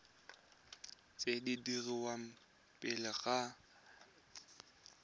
tse di dirwang pele ga